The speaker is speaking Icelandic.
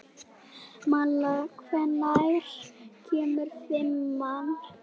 Malla, hvenær kemur fimman?